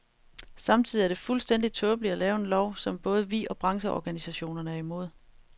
Samtidig er det fuldstændig tåbeligt at lave en lov, som både vi og brancheorganisationerne er imod.